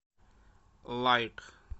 лайк